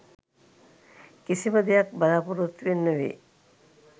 කිසිම දෙයක් බලාපොරොත්තුවෙන් නෙවෙයි